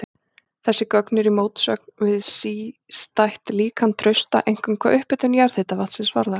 Þessi gögn eru í mótsögn við sístætt líkan Trausta, einkum hvað upphitun jarðhitavatnsins varðar.